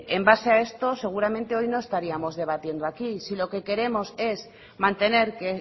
en base a esto seguramente hoy no estaríamos debatiendo aquí si lo que queremos es mantener que